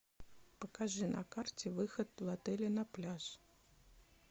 покажи на карте выход в отеле на пляж